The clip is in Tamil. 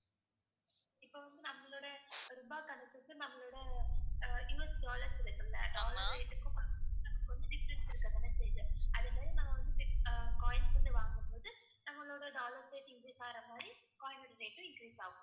இப்ப வந்து நம்மளோட ரூபாய் கணக்குக்கு நம்மளோட அஹ் USdollars இருக்கல்ல dollar rate க்கும் கொஞ்சம் difference இருக்கத்தானே செய்யுது. அதே மாதிரி நம்ம வந்து பிட்~ அஹ் coins வந்து வாங்கும்போது நம்மளோட dollars rate increase ஆகற மாதிரி coin ஓட rate உம் increase ஆகும்.